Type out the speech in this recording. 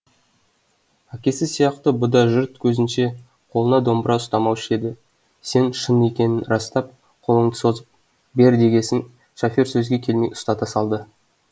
әкесі сияқты бұ да жұрт көзінше қолына домбыра ұстамаушы еді сен шын екенін растап қолыңды созып бер дегесін шофер сөзге келмей ұстата салды